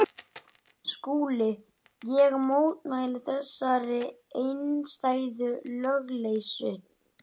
Austfirðing segja sögur af eltingaleik sínum við enska Koll.